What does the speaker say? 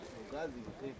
Qazım axı.